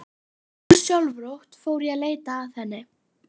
Ósjálfrátt fór ég að leita að henni.